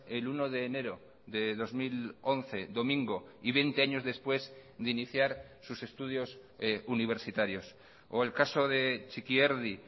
el uno de enero de dos mil once domingo y veinte años después de iniciar sus estudios universitarios o el caso de txikierdi